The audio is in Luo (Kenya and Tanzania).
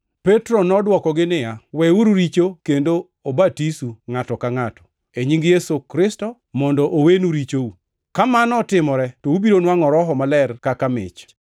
Petro nodwokogi niya, “Weuru richo kendo obatisu ngʼato ka ngʼato, e nying Yesu Kristo, mondo owenu richou. Ka mano otimore, to ubiro nwangʼo Roho Maler kaka mich.